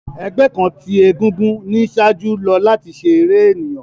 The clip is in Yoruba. Ẹgbẹ kan ti egúngún ni iṣaaju lo lati ṣe ere eniyan.